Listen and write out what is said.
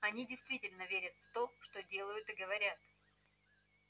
они действительно верят в то что делают и говорят